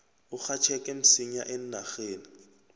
urhatjheke msinya eenarheni